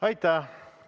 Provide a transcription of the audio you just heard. Aitäh!